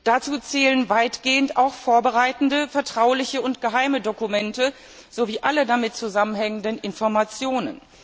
Dazu zählen weitgehend auch vorbereitende, vertrauliche und geheime Dokumente sowie alle damit zusammenhängenden Informationen.